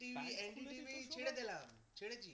ছেড়ে দিলাম ছেড়ে দিলাম